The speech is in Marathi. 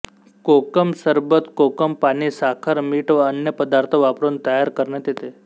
कोकम सरबत कोकम पाणी साखर मीठ व अन्य पदार्थ वापरून तयार करण्यात येते